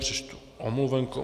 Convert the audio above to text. Přečtu omluvenku.